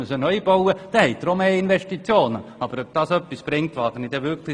Auch dadurch steigen die Investitionen, aber ich wage zu bezweifeln, dass dies etwas bringt.